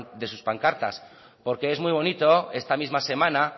de sus pancartas porque es muy bonito esta misma semana